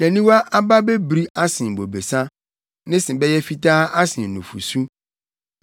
Nʼaniwa aba bebiri asen bobesa. Ne se bɛyɛ fitaa asen nufusu.